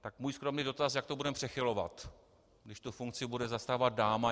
Tak můj skromný dotaz: Jak to budeme přechylovat, když tu funkci bude zastávat dáma?